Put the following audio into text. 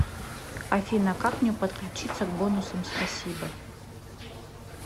афина как мне подключиться к бонусам спасибо